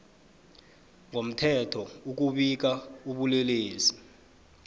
ngomthetho ukubika ubulelesi